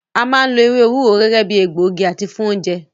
A máa ń lo ewé ewúro gẹ́gẹ́ bíi egbògi àti fún oúnjẹ.